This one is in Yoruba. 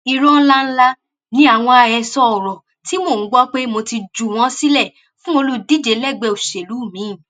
irọ ńlá ńlá ni àwọn àhesọ ọrọ tí mò ń gbọ pé mo ti juwọ sílẹ fún olùdíje lẹgbẹ òṣèlú miín